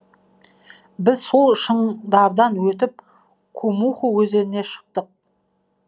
біз сол шыңдардан өтіп кумуху өзеніне шықтық